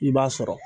I b'a sɔrɔ